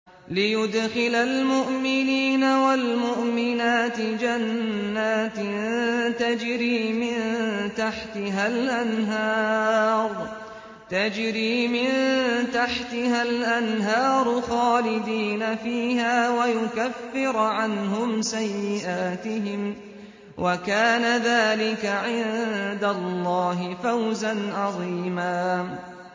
لِّيُدْخِلَ الْمُؤْمِنِينَ وَالْمُؤْمِنَاتِ جَنَّاتٍ تَجْرِي مِن تَحْتِهَا الْأَنْهَارُ خَالِدِينَ فِيهَا وَيُكَفِّرَ عَنْهُمْ سَيِّئَاتِهِمْ ۚ وَكَانَ ذَٰلِكَ عِندَ اللَّهِ فَوْزًا عَظِيمًا